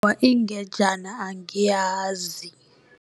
ingejena angiyazi.